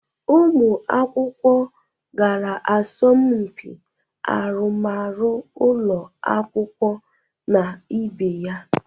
Ụmụ akwụkwọ gara asọmpị arụmarụ ụlọ akwụkwọ na ibe ya.